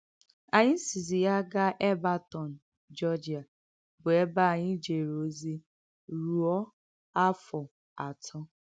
Ànyị sìzì yà gaà Èlbèrtọ̀n, Geòrgìà, bụ̀ èbè ànyị jèrè òzì rùọ̀ áfọ̀ àtọ̀.